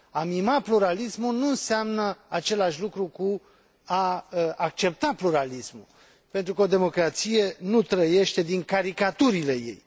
A mima pluralismul nu înseamnă același lucru cu a accepta pluralismul, pentru că o democrație nu trăiește din caricaturile ei.